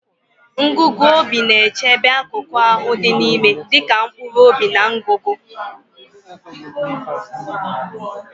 Ngugu obi na-echebe akụkụ ahụ dị n'ime dịka mkpụrụ obi na ngụgụ.